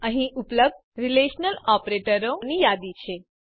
અહીં ઉપલબ્ધ રીલેશનલ ઓપરેટરોની યાદી છે